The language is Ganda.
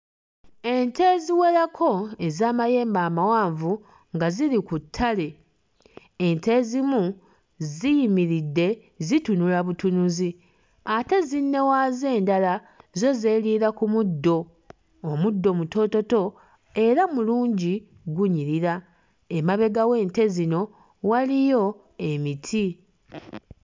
Ente eziwerako ez'amayembe amawanvu nga ziri ku ttale. Ente ezimu ziyimiridde zitunula butunuzi ate zinne waazo endala zo zeeriira ku muddo. Omuddo mutoototo era mulungi gunyirira, emabega w'ente zino waliyo emiti.